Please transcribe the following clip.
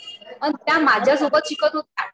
आणि त्या माझ्यासोबत शिकत होत्या